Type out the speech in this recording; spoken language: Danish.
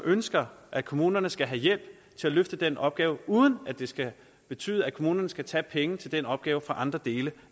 ønsker at kommunerne skal have hjælp til at løfte den opgave uden at det skal betyde at kommunerne skal tage penge til den opgave fra andre dele